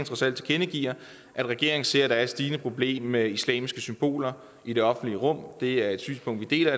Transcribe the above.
trods alt tilkendegiver at regeringen ser at der er et stigende problem med islamiske symboler i det offentlige rum det er et synspunkt vi deler